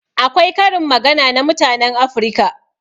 Akwai karin magana na mutanen Afirika.